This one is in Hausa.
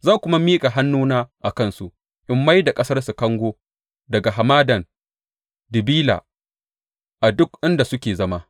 Zan kuma miƙa hannuna a kansu in mai da ƙasarsu kango daga hamadan Dibila, a duk inda suke zama.